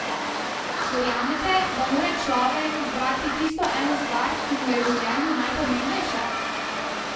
Verjamete, da mora človek izbrati tisto eno stvar, ki mu je v življenju najpomembnejša?